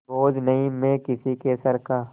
बोझ नहीं मैं किसी के सर का